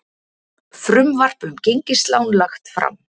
Frumvarp um gengislán lagt fram